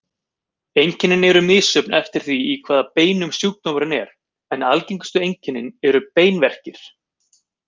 Einkenni eru misjöfn eftir því í hvaða beinum sjúkdómurinn er, en algengustu einkenni eru beinverkir.